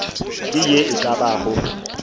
ke ye e ka bago